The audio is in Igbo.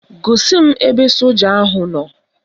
Gosi m ebe soja ahụ nọ